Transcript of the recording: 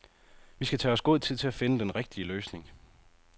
Vi skal tage os god tid til at finde den rigtige løsning.